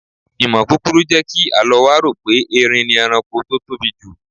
Ìmọ̀ kúkurú jẹ́ kí Àlọ́ wa rò pé Eerin ni ẹranko tó tóbi jù.